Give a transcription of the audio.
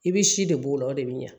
I bɛ si de b'o la o de bɛ ɲa